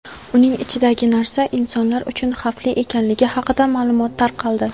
uning ichidagi narsa insonlar uchun xavfli ekanligi haqida ma’lumot tarqaldi.